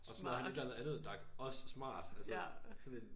Og så lavede han et eller andet andet dak også smart altså sådan en